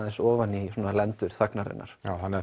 ofan í svona lendur þagnarinnar já þannig